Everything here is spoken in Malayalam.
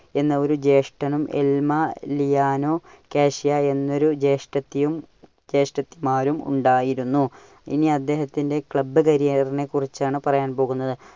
എന്ന ഒരു ജ്യേഷ്ഠനും എൽമ ലിയാനോ കാഷ്യ എന്ന ഒരു ജ്യേഷ്ഠത്തിയും ~ജ്യേഷ്ഠത്തിമാരും ഉണ്ടായിരുന്നു. ഇനി അദ്ദേഹത്തിന്റെ club career നെ കുറിച്ചാണ് പറയാൻ പോകുന്നത്.